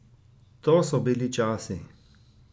To so bili časi!